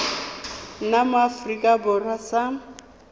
nna mo aforika borwa sa